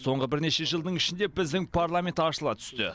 соңғы бірнеше жылдың ішінде біздің парламент ашыла түсті